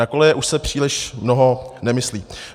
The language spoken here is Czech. Na koleje už se příliš mnoho nemyslí.